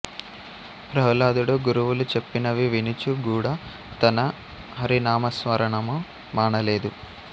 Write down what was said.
ప్రహ్లాదుడు గురువులు చెప్పినవి వినుచు గూడా తన హరినామస్మరణము మానలేదు